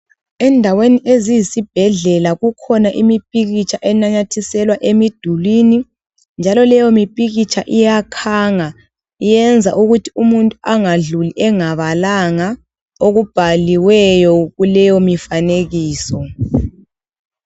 Endaweni eziyi sibhedlela kukhona imipikitsha enamathiselwa emidulwini njalo leyo mipikitsha iyakhanga iyenza ukuthi umuntu angadluli engabalanga okubhaliweyo kuleyo mifanekiso.